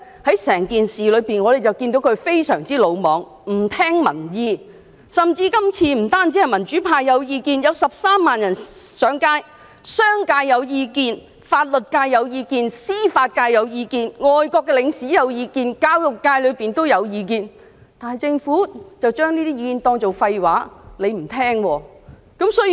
在整件事上，我們看到她非常魯莽、不聽民意，這次不單是民主派有意見，還有13萬市民上街抗議，甚至商界、法律界、司法界、外國領事及教育界也有表達意見，但政府將這些意見當作廢話，不聽民意。